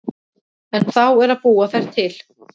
En þá er að búa þær til.